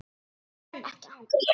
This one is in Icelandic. Ég nenni ekki að hanga hér.